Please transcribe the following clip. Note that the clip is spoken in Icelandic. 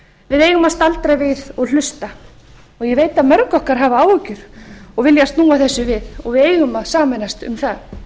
að staldra við og hlusta ég veit að mörg okkar hafa áhyggjur og vilja snúa þessu við og við eigum að sameinast um það